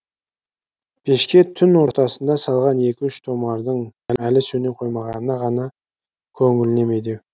пешке түн ортасында салған екі үш томардың әлі сөне қоймағаны ғана көңіліне медеу